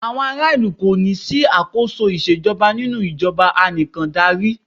Àwọn ará ìlú kò ní sí àkóso ìṣèjọba nínú ìjọbà ànìkàndarí.